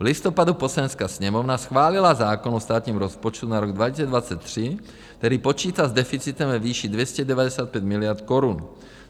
V listopadu Poslanecká sněmovna schválila zákon o státním rozpočtu na rok 2023, který počítá s deficitem ve výši 295 miliard korun.